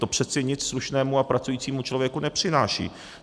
To přece nic slušnému a pracujícímu člověku nepřináší.